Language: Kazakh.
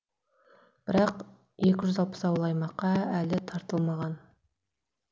бірақ екі жүз алпыс ауыл аймаққа әлі тартылмаған